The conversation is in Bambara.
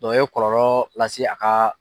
o ye kɔlɔlɔ lase a ka